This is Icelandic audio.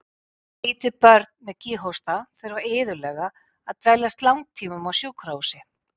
Lítil börn með kíghósta þurfa iðulega að dveljast langtímum á sjúkrahúsi.